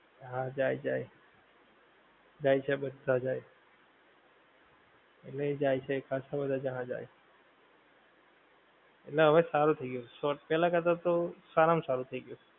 હા જાએ જાએ, જાએ છે બધાં જાએ, એટલે એ જાએ છે ખાસ્સા બધાં જણાં જાએ, એટલે હવે સારું થઈ ગયું છે પેહલા કરતા તો સારા માં સારું થઈ ગયું